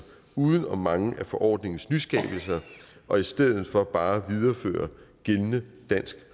uden om mange af forordningens nyskabelser og i stedet for bare viderefører gældende dansk